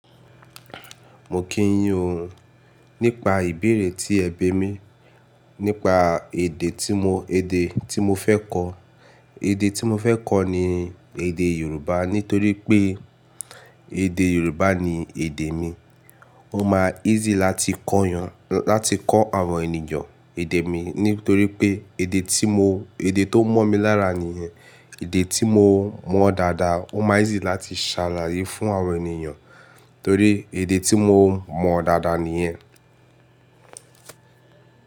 Mo kì ń yí ọ nípa ìbéèrè tí ẹbí mi nípa èdè tí mo, èdè tí mo fẹ́ kọ̀. Èdè tí mo fẹ́ kọ̀ ni èdè Yorùbá nítorí pé èdè Yorùbá ni èdè mi. Ó má easy láti kọ́ yàn, láti kọ́ àwọn ènìyàn èdè mi nítorí pé èdè tí mo, èdè tó mọ́ mi lára nìyẹn. Èdè tí mo mọ̀ dáadáa, ó má easy láti ṣàlàyé fún àwọn ènìyàn nítorí èdè tí mo mọ̀ dáadáa nìyẹn.